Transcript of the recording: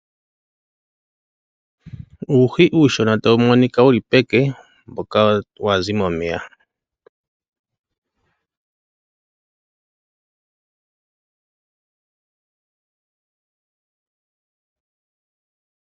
Uuhi uushona tawu monika wuli peke mboka wazi momeya.